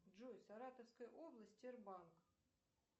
джой саратовская область р банк